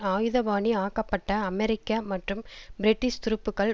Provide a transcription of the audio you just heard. ஆயுதபாணி ஆக்கப்பட்ட அமெரிக்க மற்றும் பிரிட்டிஷ் துருப்புக்கள்